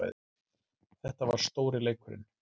Þetta var stóri leikurinn